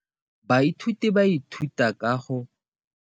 Baithuti ba ithuta ka molawana wa motheo mo dipalong.